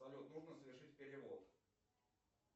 салют нужно совершить перевод